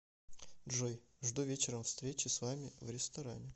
джой жду вечером встречи с вами в ресторане